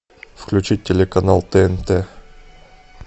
включить телеканал тнт